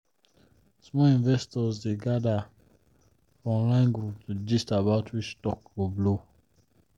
small investors dey gather for online group to gist about which stock go blow.